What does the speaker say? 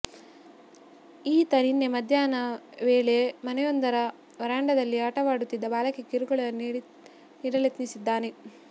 ಈತ ನಿನ್ನೆ ಮಧ್ಯಾಹ್ನ ವೇಳೆ ಮನೆಯೊಂದರ ವರಾಂಡದಲ್ಲಿ ಆಟವಾಡುತ್ತಿದ್ದ ಬಾಲಕಿಗೆ ಕಿರುಕುಳ ನೀಡಲೆತ್ನಿಸಿದ್ದಾನೆ